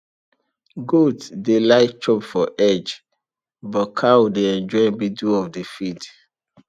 goat dey like chop for edge but cow dey enjoy middle of the field